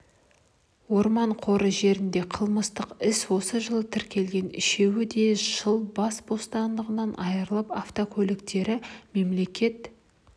орман қоры жерінде қылмыстық іс осы жылы тіркелген үшеуі де жыл бас бостандығынан айырылып автокөліктері мемлекет